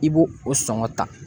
I b'o o sɔngɔ ta.